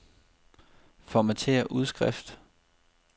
Formatér udskrift.